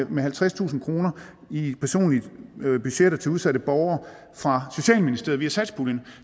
med halvtredstusind kroner i personlige budgetter til udsatte borgere fra socialministeriet via satspuljen